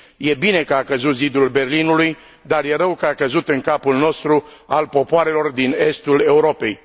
E bine că a căzut zidul Berlinului, dar e rău că a căzut în capul nostru, al popoarelor din estul Europei.